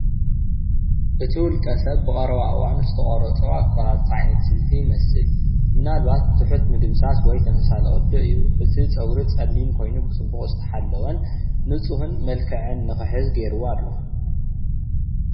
እቲ ውልቀ ሰብ ብቀረባ እዋን ዝተቆሮፆ ኣቆራርፃ ዓይነት ስልቲ ይመስል ምናልባት ትሑት ምድምሳስ ወይ ተመሳሳሊ ቅዲ እዩ እቲ ፅጉሪ ፀሊም ኮይኑ ብፅቡቅ ዝተሓለወ ንፁሁን መልክዕ ንክሕዝ ገይርዎ ኣሎ።